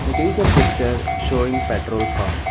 it is a picture showing petrol pump.